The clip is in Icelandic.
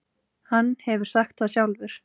Hann hefur sagt það sjálfur.